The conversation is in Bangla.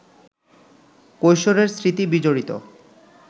কৈশোরের স্মৃতি বিজড়িত